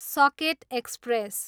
socket express